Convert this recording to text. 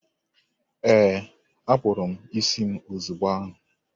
Ee, akpụrụ m isi m ozigbo ahụ.